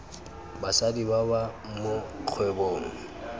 basadi ba ba mo kgwebong